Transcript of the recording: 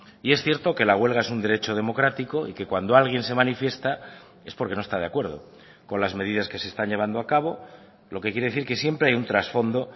y es cierto que la huelga es un derecho democrático y que cuando alguien se manifiesta es porque no está de acuerdo con las medidas que se están llevando a cabo lo que quiere decir que siempre hay un trasfondo